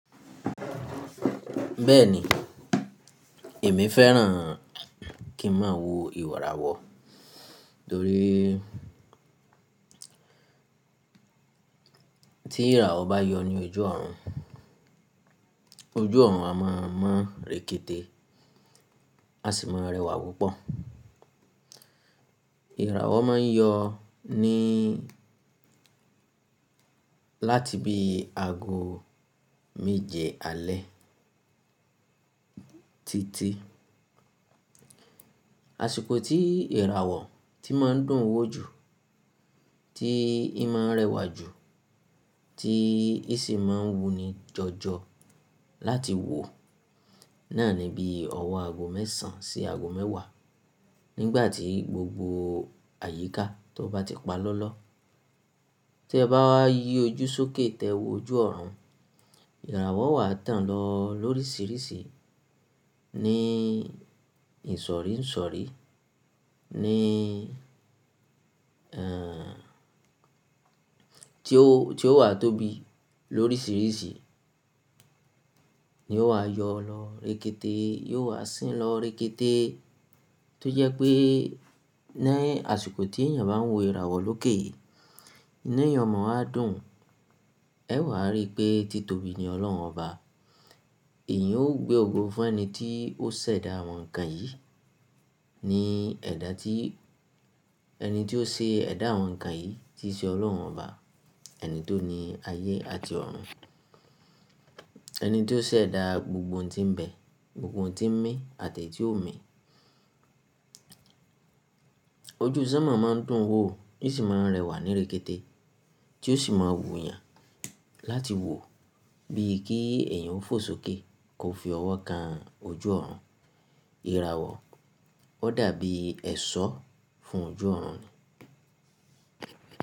Bẹ́ẹ̀ni, èmi fẹ́ràn kí n máa wo ìràwọ̀ torí tí ìràwọ̀ bá yọ ní ojú ọ̀run, ojú ọ̀run a máa mọ́ rekete, a sì máa rẹwà púpọ̀. Ìràwọ̀ máa ń yọ ní láti bi aago méje alẹ́ títí. Àṣìkò tí ìràwọ̀ tí máa ń dùn wò jù, tí í máa ń rẹwà jù, tí í sì máa ń wu ni jọjọ láti wò náà ni bí ọwọ́ aago mẹ́sàn án sí aago mẹ́wàá nígbà tí gbogbo àyíká tó bá ti pa lọ́lọ́. Tí ẹ bá yí ojú sókè tẹ́wọ́ ojú ọ̀run, ìràwọ̀ wà tán lọ lóríṣìíríṣìí ní ìsọ̀rí ìsọ̀rí ní, ẹ́ ti ó, ti ó wà tóbi lóríṣìíríṣìí ni ó wa yọ lọ rekete, yóò wá sín lọ rekete. Tó jẹ́ pé ní àsìkò tí èèyàn bá ń wo ìràwọ̀ lókè, ínu èèyàn o mọ́ wá dùn, ẹ́ wà á rí pé títòbí ni Ọlọ́run ọba. Èyìn ó gbé ògo fún ẹni tí ó ṣẹ̀dá àwọn nǹkan yìí ní ẹ̀dá tí ẹni tí ó ṣe ẹ̀dá àwọn nǹkan yìí tí í ṣe Ọlọ́run ọba ẹni tó ni ayé àti ọ̀run. Ẹni tí ó ṣẹ̀dá gbogbo ohun tí ń bẹ, gbogbo ohun tí ń mí àti èyí tí ò ń mí. Ojú sánmọ̀ máa ń dùn wò, ó sì máa ń rẹwà ní rekete tí ó sì máa ń wu èèyàn láti wò bíi kí èèyàn ó fò sókè kó fi ọwọ́ kan ojú ọ̀run. Ìràwọ̀ ó dàbí ẹ̀ṣọ́ fún ojú ọ̀run ni.